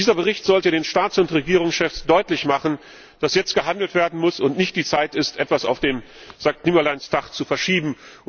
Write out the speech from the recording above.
Dieser Bericht sollte den Staats und Regierungschefs deutlich machen, dass jetzt gehandelt werden muss und nicht die Zeit ist, etwas auf den Sankt Nimmerleins Tag zu verschieben.